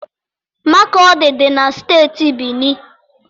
Makọdị dị na Steeti Benue.